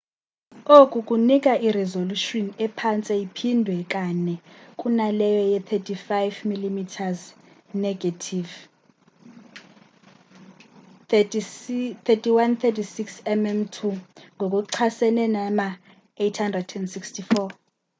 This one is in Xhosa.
oku kunika irizolushini ephantse iphindwe kanei kunaleyo ye-35 mm negethivi 3136 mm2 ngokuchasene nama-864